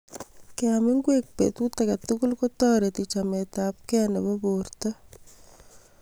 Keam ngwek petut age tugul ko toreti chametapkei nebo porto